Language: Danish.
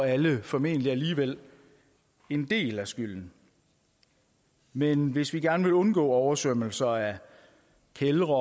alle formentlig alligevel en del af skylden men hvis vi gerne vil undgå oversvømmelser af kældre